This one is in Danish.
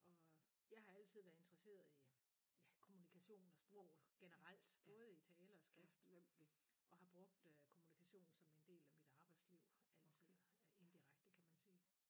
Og jeg har altid været interesseret i ja kommunikation og sprog generelt både i tale og skrift og har brugt øh kommunikation som en del af mit arbejdsliv altid indirekte kan man sige